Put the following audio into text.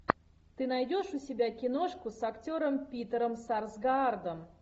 ты найдешь у себя киношку с актером питером сарсгаардом